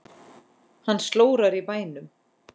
Hann slórar í bænum.